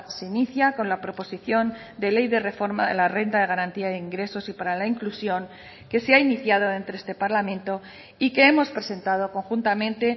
se inicia con la proposición de ley de reforma de la renta de garantía de ingresos y para la inclusión que se ha iniciado entre este parlamento y que hemos presentado conjuntamente